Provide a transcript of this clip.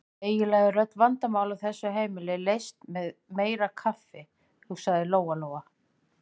Eiginlega eru öll vandamál á þessu heimili leyst með meira kaffi, hugsaði Lóa-Lóa.